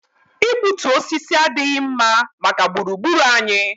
Igbutu osisi adịghị mma maka gburu gburu anyị